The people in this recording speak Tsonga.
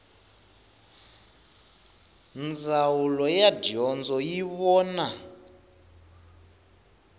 ndzawulo ya dyondzo yi vona